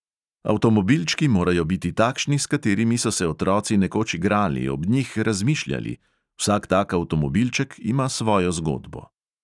Avtomobilčki morajo biti takšni, s katerimi so se otroci nekoč igrali, ob njih razmišljali … vsak tak avtomobilček ima svojo zgodbo.